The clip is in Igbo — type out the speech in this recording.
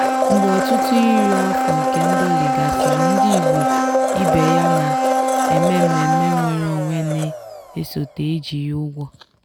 "mgbe ọtụtụ iri afọ nke ndọli gasịrị ndị igbo ibe ya na-eme mmemme nnwere onwe na-esote ejighi ụgwọ."